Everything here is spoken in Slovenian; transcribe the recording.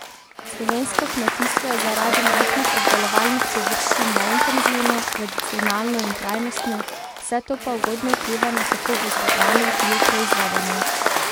Slovensko kmetijstvo je zaradi majhnih obdelovalnih površin neintenzivno, tradicionalno in trajnostno, vse to pa ugodno vpliva na kakovost hrane, ki jo proizvedemo.